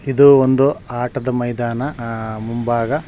ಇದು ಒಂದು ಆಟದ ಮೈದಾನ ಆಹ್ ಮುಂಭಾಗ --